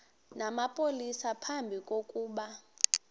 namapolisa phambi kokuba